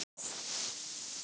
Þó er enn von.